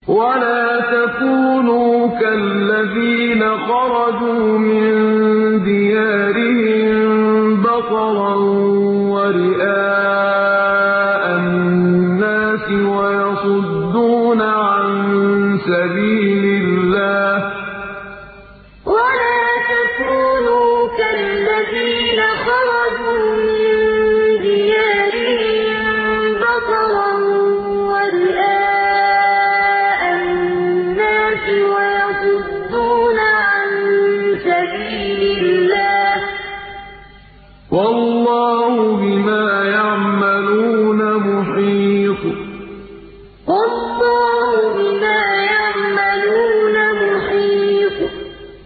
وَلَا تَكُونُوا كَالَّذِينَ خَرَجُوا مِن دِيَارِهِم بَطَرًا وَرِئَاءَ النَّاسِ وَيَصُدُّونَ عَن سَبِيلِ اللَّهِ ۚ وَاللَّهُ بِمَا يَعْمَلُونَ مُحِيطٌ وَلَا تَكُونُوا كَالَّذِينَ خَرَجُوا مِن دِيَارِهِم بَطَرًا وَرِئَاءَ النَّاسِ وَيَصُدُّونَ عَن سَبِيلِ اللَّهِ ۚ وَاللَّهُ بِمَا يَعْمَلُونَ مُحِيطٌ